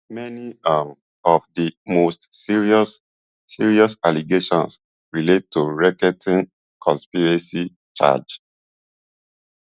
many um of di most serious serious allegations relate to racketeering conspiracy charge